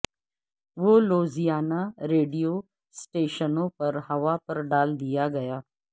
وہ Louisiana radio سٹیشنوں پر ہوا پر ڈال دیا گیا